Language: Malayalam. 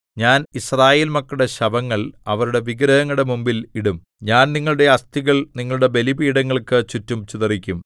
ഞാൻ യിസ്രായേൽ മക്കളുടെ ശവങ്ങൾ അവരുടെ വിഗ്രഹങ്ങളുടെ മുമ്പിൽ ഇടും ഞാൻ നിങ്ങളുടെ അസ്ഥികൾ നിങ്ങളുടെ ബലിപീഠങ്ങൾക്കു ചുറ്റും ചിതറിക്കും